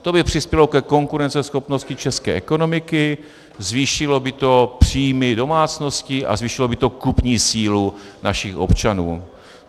To by přispělo ke konkurenceschopnosti české ekonomiky, zvýšilo by to příjmy domácností a zvýšilo by to kupní sílu našich občanů.